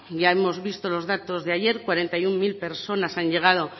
ya hemos visto los datos de ayer cuarenta y uno mil personas han llegado